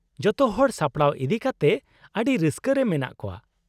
-ᱡᱚᱛᱚᱦᱚᱲ ᱥᱟᱯᱲᱟᱣ ᱤᱫᱤᱠᱟᱛᱮᱫ ᱟᱹᱰᱤ ᱨᱟᱹᱥᱠᱟᱹ ᱨᱮ ᱢᱮᱱᱟᱜ ᱠᱚᱣᱟ ᱾